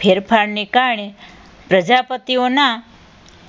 ફેરફારને કારણે પ્રજાપતિઓના